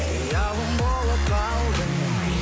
аяулым болып қалдың